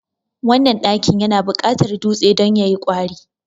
wannan ɗakin yana buƙatar dutse don ya yi kwari